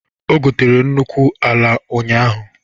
Ọ gotere nnukwu ala ụnyaahụ.